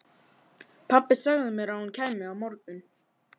Pabbi sagði mér að hún kæmi á morgun.